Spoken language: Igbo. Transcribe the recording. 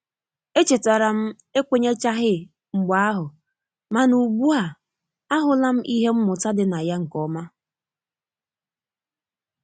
E chetara m ekwenyechaghi mgbe ahu mana ugbua ahula m ihe mmụta dị na ya nkeoma